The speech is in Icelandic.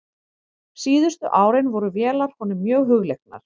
Síðustu árin voru vélar honum mjög hugleiknar.